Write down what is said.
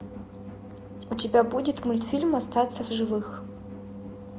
у тебя будет мультфильм остаться в живых